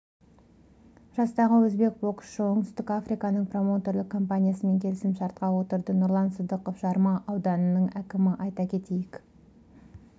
жастағы өзбек боксшысы оңтүстік африканың проуметерлік компаниясымен келісімшартқа отырды нұрлан сыдықов жарма ауданының әкімі айта кетейік